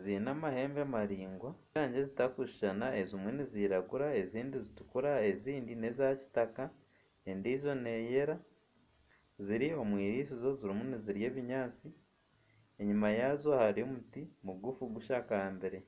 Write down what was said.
ziine amahembe maringwa ze rangi zitakushushana ezimwe niziragura ezindi zituukura ezindi neza Kitaka endijo neyera ziri omu irisizo zirimu nizirya ebinyaatsi enyima yazo hariyo omuti mugufu gushakambire